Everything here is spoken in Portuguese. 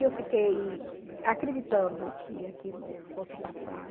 E eu fiquei acreditando que aquilo fosse passar.